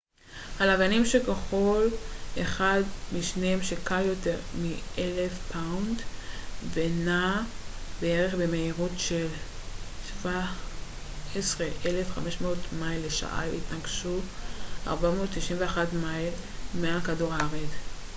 הלוויינים שכל אחד משניהם שקל יותר מ-1,000 פאונד ונע בערך במהירות של כ-17,500 מייל לשעה התנגשו 491 מייל מעל כדור הארץ